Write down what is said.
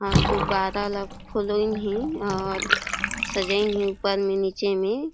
और गुब्बारा ला फुलाईन हे और सजाइन हे ऊपर मे नीचे मे --